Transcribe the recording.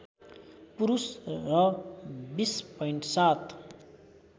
पुरुष र २०.७